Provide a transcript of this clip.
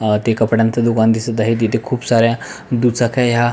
अ ते कपड्याच दुकान दिसत आहे तिथे खूप साऱ्या दुचक्या ह्या--